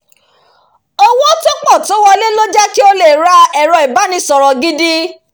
owó tó pọ̀ tó wọlé ló jẹ́ kí lè ra ẹ̀rọ ibánisọ̀rọ̀ gidi